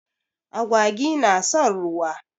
Agwagi na son ruwa.